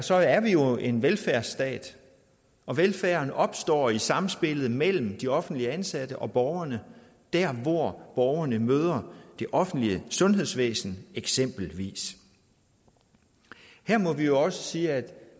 så er vi jo en velfærdsstat og velfærden opstår i samspillet mellem de offentlige ansatte og borgerne der hvor borgerne møder det offentlige sundhedsvæsen eksempelvis her må vi også sige at